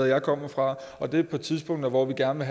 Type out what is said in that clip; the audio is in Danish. jeg kommer fra og det er på et tidspunkt hvor vi gerne